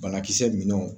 Banakisɛ minɛnw